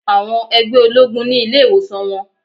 Àwọn ẹgbẹ́ ológun ni ilé ìwòsàn wọn.